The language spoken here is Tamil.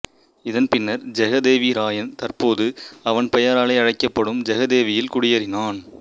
இதன் பின்னர் ஜெகதேவிராயன் தற்போது அவன் பெயராலே அழைக்கப்படும் ஜெகதேவியில் குடியேறினான்